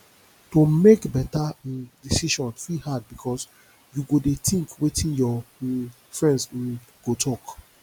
to mek beta um decision fit hard bikos you go dey tink wetin yur um friends um go tok